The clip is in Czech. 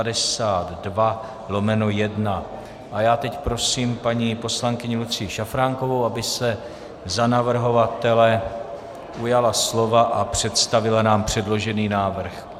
A já teď prosím paní poslankyni Lucii Šafránkovou, aby se za navrhovatele ujala slova a představila nám předložený návrh.